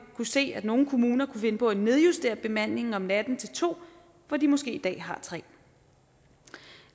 kunne se at nogle kommuner finde på at nedjustere bemandingen om natten til to hvor de måske i dag har tre